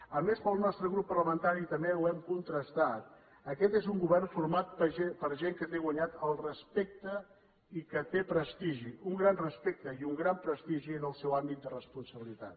a més i pel nostre grup parlamentari també ho hem contrastar aquest és un govern format per gent que té guanyat el respecte i que té prestigi un gran respecte i un gran prestigi en el seu àmbit de responsabilitat